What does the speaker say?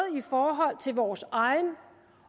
i forhold til vores egen